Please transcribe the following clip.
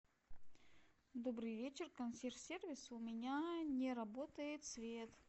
добрый вечер консьерж сервис у меня не работает свет